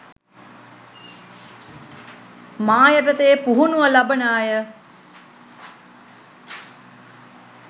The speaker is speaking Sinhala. මා යටතේ පුහුණුව ලබන අය